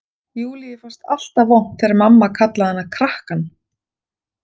Júlíu fannst alltaf vont þegar mamma kallaði hana krakkann.